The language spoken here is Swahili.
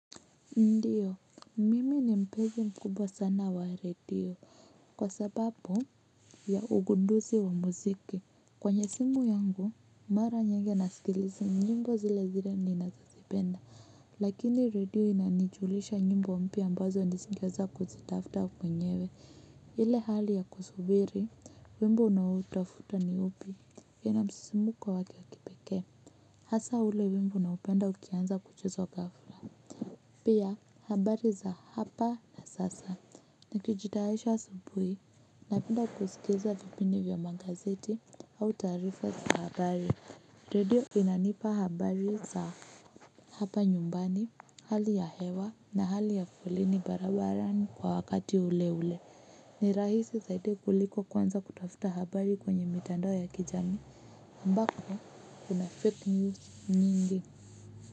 Ndiyo, mimi ni mpenzi mkubwa sana wa redio kwa sababu ya ugunduzi wa muziki. Kwenye simu yangu, mara nyigi nasikiliza nyimbo zile zile ninazozipenda. Lakini redio inanijulisha nyimbo mpya ambazo nisingeweza kuzitafuta wenyewe. Ile hali ya kusubiri, wimbo unaoutafuta ni upi. Inamsisimko waki wakipekee. Hasa ule wimbo unaopenda ukianza kuchezwa ghafla. Pia habari za hapa na sasa na kijitayarisha asubuhi napenda kusikiza vipindi vya magazeti au taarifa za habari redio inanipa habari za hapa nyumbani hali ya hewa na hali ya foleni barabarani kwa wakati ule ule ni rahisi zaidi kuliko kuanza kutafuta habari kwenye mitandao ya kijamii ambako kuna fake news nyingi.